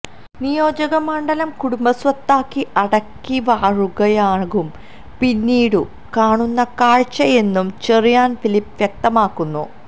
നിയോജക മണ്ഡലം കുടുംബസ്വത്താക്കി അടക്കിവാഴുകയാകും പിന്നീടു കാണുന്ന കാഴ്ചയെന്നും ചെറിയാൻ ഫിലിപ്പ് വ്യക്തമാക്കുന്നു